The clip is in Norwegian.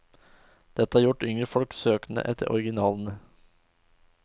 Dette har gjort yngre folk søkende etter originalene.